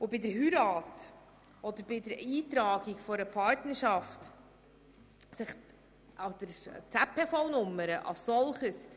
Bei einer Heirat und beim Eintragen einer Partnerschaft ändert sich an der ZPV-Nummer gar nichts.